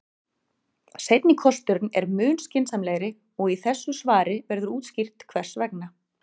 Seinni kosturinn er mun skynsamlegri og í þessu svari verður útskýrt hvers vegna.